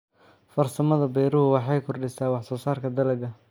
Farsamada beeruhu waxay kordhisaa wax soo saarka dalagga.